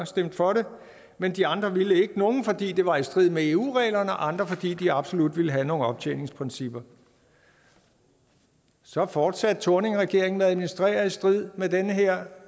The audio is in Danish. stemte for det men de andre ville ikke nogle fordi det var i strid med eu reglerne og andre fordi de absolut ville have nogle optjeningsprincipper så fortsatte thorningregeringen med at administrere i strid med den her